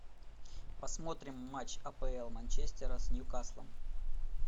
посмотрим матч апл манчестера с ньюкаслом